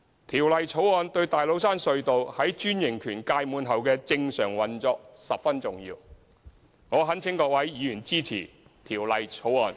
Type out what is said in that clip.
《條例草案》對大老山隧道在專營權屆滿後的正常運作十分重要，我懇請各位議員支持《條例草案》。